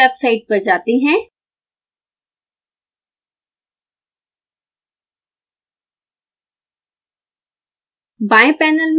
इस वेबसाइट पर जाते हैं